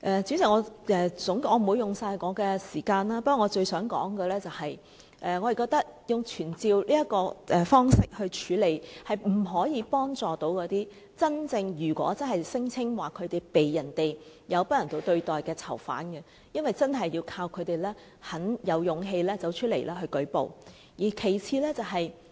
主席，我不會花掉我全部的發言時間，不過我最想說的是，我們覺得以傳召方式來處理這個問題，並不能真正幫助那些聲稱遭不人道對待的囚犯，因為真的要靠他們自己有勇氣走出來舉報。